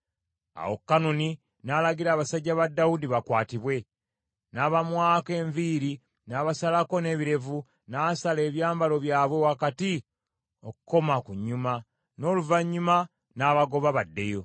Awo Kanuni n’alagira abasajja ba Dawudi bakwatibwe, n’abamwako enviiri n’abasalako n’ebirevu, n’asala ebyambalo byabwe wakati okukoma ku nnyuma, n’oluvannyuma n’abagoba baddeyo.